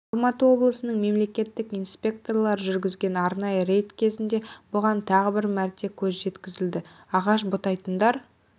алматы облысының мемлекеттік инспекторлары жүргізген арнайы рейд кезінде бұған тағы бір мәрте көз жеткізілді ағаш бұтайтындар